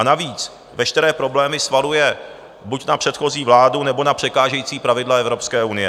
A navíc, veškeré problémy svaluje buď na předchozí vládu, nebo na překážející pravidla Evropské unie.